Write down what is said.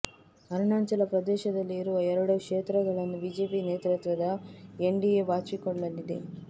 ಅರುಣಾಚಲ ಪ್ರದೇಶದಲ್ಲಿ ಇರುವ ಎರಡು ಕ್ಷೇತ್ರಗಳನ್ನು ಬಿಜೆಪಿ ನೇತೃತ್ವದ ಎನ್ಡಿಎ ಬಾಚಿಕೊಳ್ಳಲಿದೆ